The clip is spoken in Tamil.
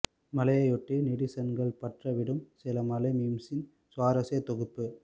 மழையை ஒட்டி நெடிசன்கள் பற்ற விடும் சில மழை மீம்ஸ்ன் சுவாரஸ்ய தொகுப்பு